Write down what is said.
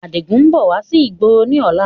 Adigun ń bọ̀ wá sí ìgboro ni ọ̀la